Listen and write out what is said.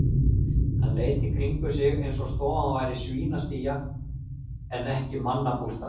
Hann leit í kringum sig eins og stofan væri svínastía en ekki mannabústaður.